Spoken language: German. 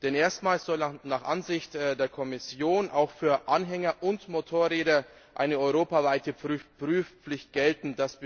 Denn erstmals soll nach Ansicht der Kommission auch für Anhänger und Motorräder eine europaweite Prüfpflicht gelten.